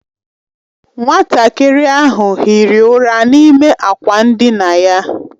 Nwatakịrị ahụ hiri ụra n'ime akwa ndina ya.